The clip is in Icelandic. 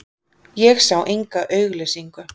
Ég sá enga auglýsingu.